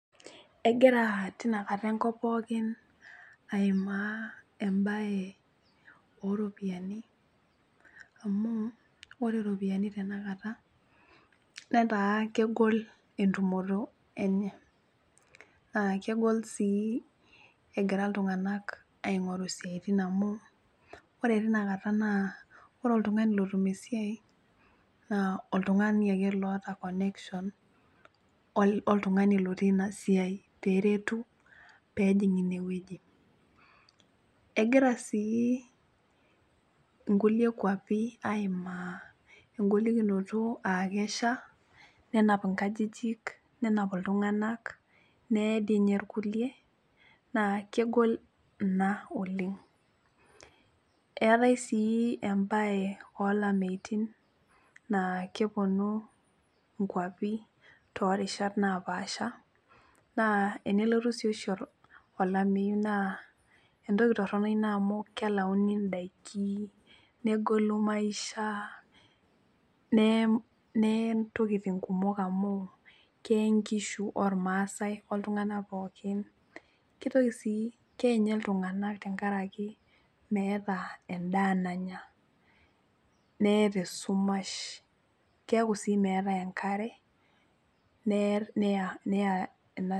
Egira tinakata enkop pookin aimaa embaye oropiyiani amu ore iropiani tenakata netaa kegol entumoto enye naa kegol sii egira iltung'anak aing'oru isiaitin amu ore tina kata naa ore oltung'ani lotum esiai naa oltung'ani ake loota connection oltung'ani lotii ina siai peretu peejing inewueji egira sii nkulie kuapi aimaa engolikinoto aa kesha nenap inkajijik nenap iltung'anak neye dii ninye irkulie naa kegol ina oleng eetae sii embaye olameitin naa keponu inkuapi torishat napaasha naa enelotu sii oshi olameyu naa entoki torrono ina amu kelauni indaiki negolu maisha neye neye intokiting kumok amu keye inkishu ormasae oltung'anak pookin kitoki sii keye inye iltung'anak tenkaraki meeta endaa nanya neye tesumash keeku sii meetae enkare ne neya ina.